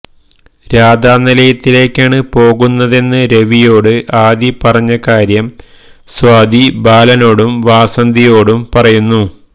രാധാനിലയത്തിലേക്കാണ് പോകുന്നതെന്ന് രവിയോട് ആദി പറഞ്ഞ കാര്യം സ്വാതി ബാലനോടും വാസന്തിയോടും പറയുന്നു